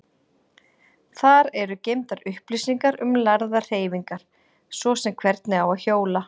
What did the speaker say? Þar eru geymdar upplýsingar um lærðar hreyfingar, svo sem hvernig á að hjóla.